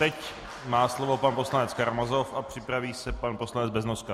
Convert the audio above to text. Teď má slovo pan poslanec Karamazov a připraví se pan poslanec Beznoska.